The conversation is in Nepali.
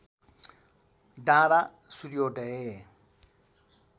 डाडाँ सूर्योदय